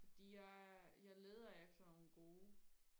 fordi jeg jeg leder efter nogle gode